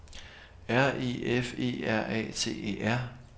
R E F E R A T E R